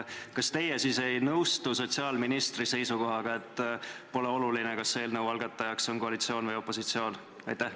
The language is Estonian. Kas teie siis ei nõustu sotsiaalministri seisukohaga, et pole oluline, kas eelnõu algataja on koalitsioon või opositsioon?